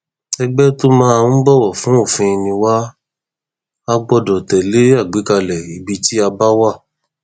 ẹgbẹ tó máa ń bọwọ fún òfin ni wà á gbọdọ tẹlé àgbékalẹ ibi tí a bá wà